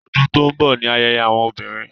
Ọdún tó n bọ ní ayẹyẹ àwọn olórin